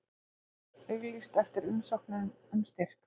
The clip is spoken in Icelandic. Auglýst eftir umsóknum um styrki